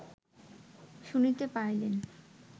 শুনিতে পাইলেন